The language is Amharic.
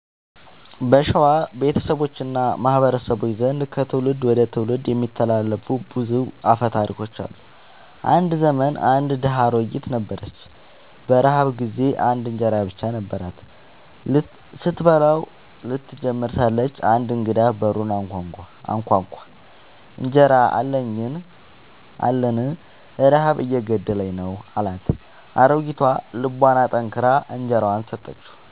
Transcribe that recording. በሸዋ ቤተሰቦች እና ማህበረሰቦች ዘንድ ከትውልድ ወደ ትውልድ የሚተላለፉ ብዙ አፈ ታሪኮች አሉ። አንድ ዘመን አንድ ድሃ አሮጊት ነበረች። በረሃብ ጊዜ አንድ እንጀራ ብቻ ነበራት። ስትበላው ልትጀምር ሳለች አንድ እንግዳ በሩን አንኳኳ፤ «እንጀራ አለኝን? ረሃብ እየገደለኝ ነው» አላት። አሮጊቷ ልቧን አጠንክራ እንጀራዋን ሰጠችው።